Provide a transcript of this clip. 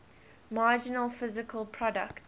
marginal physical product